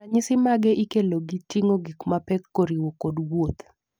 ranyisi mage ikelo gi ting'o gik mapek koriwo kod wuoth